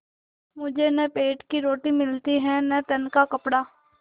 मुझे न पेट की रोटी मिलती है न तन का कपड़ा